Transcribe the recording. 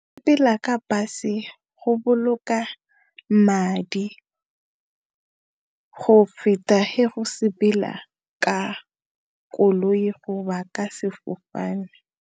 Go sepela ka bus-e go boloka madi, go feta he ho sepela ka koloi go ba ka sefofane.